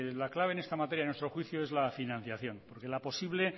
la clave en esta materia a nuestro juicio es la financiación porque la posible